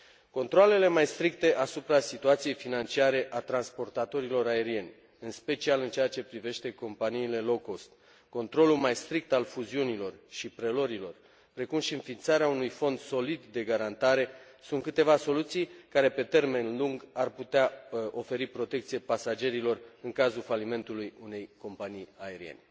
Controalele mai stricte asupra situației financiare a transportatorilor aerieni, în special în ceea ce privește companiile low cost controlul mai strict al fuziunilor și preluărilor, precum și înființarea unui fond solid de garantare sunt câteva soluții care, pe termen lung, ar putea oferi protecție pasagerilor în cazul falimentului unei companii aeriene.